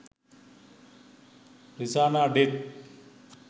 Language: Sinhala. rizana death